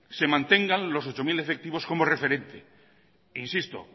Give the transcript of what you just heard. se mantengan los ocho mil efectivos como referente e insisto